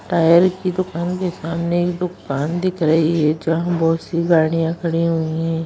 Tyre की दुकान के सामने एक दूकान दिख रही है जहां बहुत सी गाड़ियां खड़ी हुई हैं।